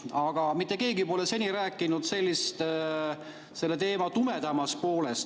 Aga mitte keegi pole seni rääkinud selle teema tumedamast poolest.